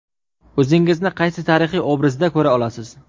O‘zingizni qaysi tarixiy obrazda ko‘ra olasiz?